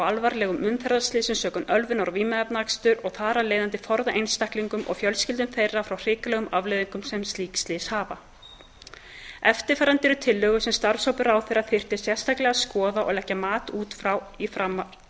alvarlegum umferðarslysum sökum ölvunar og vímuefnaaksturs og þar af leiðandi forða einstaklingum og fjölskyldum þeirra frá hrikalegum afleiðingum sem slík slys hafa eftirfarandi eru tillögur sem starfshópur ráðherra þyrfti sérstaklega að skoða og leggja mat á út